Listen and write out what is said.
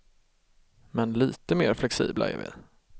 Men lite mer flexibla är vi.